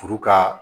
Furu ka